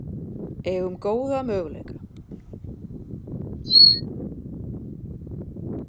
Eigum góða möguleika